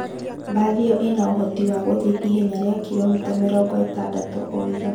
Bathi iyo ina ũhoti wa gũthie ihenya ria kiromita mĩrongo ĩtandatũ o ithaa.